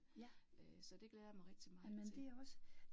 Øh så det glæder jeg mig rigtig meget til